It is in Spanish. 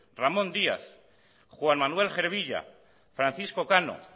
ramón díaz juan manuel gervilla francisco cano